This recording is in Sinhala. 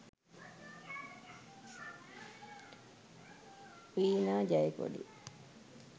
veena jayakodi